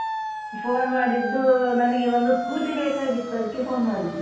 Phone ಮಾಡಿದ್ದು ನನಗೆ ಒಂದು scooty ಬೇಕಾಗಿತ್ತು ಅದ್ಕೆ phone ಮಾಡಿದ್ದು.